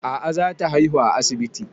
A'a za ta haihu a asibiti